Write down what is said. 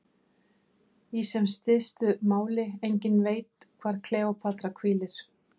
Í sem stystu máli: enginn veit hvar Kleópatra hvílir.